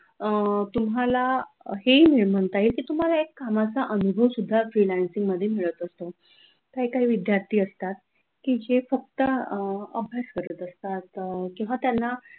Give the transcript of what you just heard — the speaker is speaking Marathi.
अह तुम्हाला हे म्हणता येईल की तुम्हाला एक कामाचा अनुभव सुद्धा freelancing मध्ये मिळत असतो किंवा काही विद्यार्थी असतात की जे फक्त अह अभ्यास करत असतात अह किंवा त्यांना